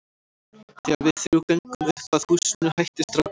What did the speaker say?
Þegar við þrjú göngum upp að húsinu hættir strákurinn að leika sér.